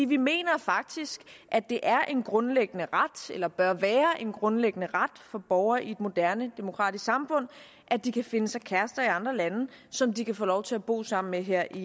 vi mener faktisk at det er en grundlæggende ret eller bør være en grundlæggende ret for borgere i et moderne demokratisk samfund at de kan finde sig kærester i andre lande som de kan få lov til at bo sammen med her i